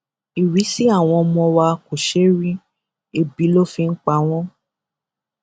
ìrísí àwọn ọmọ wa kò ṣeé rí ẹbí ló fi ń pa wọn